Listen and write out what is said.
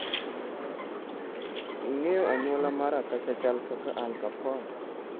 "ing'eyo anyuola mar Akasha chal kaka Al Capone.